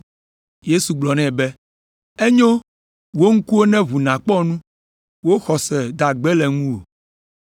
Yesu gblɔ nɛ be, “Enyo wò ŋkuwo neʋu nakpɔ nu. Wò xɔse da gbe le ŋuwò.”